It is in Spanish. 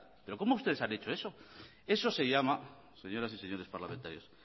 eso se llama señoras y señores parlamentarios